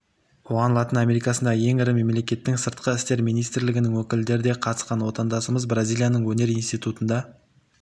оған латын америкасындағы ең ірі мемлекеттің сыртқы істер министрлігінің өкілдері де қатысқан отандасымыз бразилияның өнер институтында